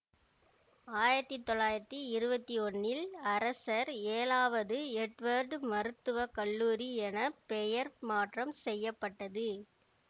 ஆயிரத்தி தொள்ளாயிரத்தி இருவத்தி ஒன்னில் அரசர் ஏழாவது எட்வர்டு மருத்துவ கல்லூரி என பெயர் மாற்றம் செய்ய பட்டது